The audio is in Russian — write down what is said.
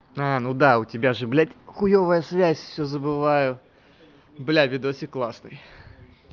аа ну да у тебя же блять хуевая связь все забываю бля видосик классный